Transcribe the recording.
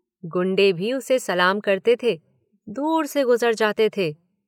गुंडे भी उसे सलाम करते थे, दूर से गुज़र जाते थे।